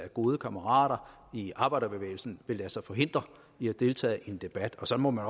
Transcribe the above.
at gode kammerater i arbejderbevægelsen vil lade sig hindre i at deltage i en debat og så må man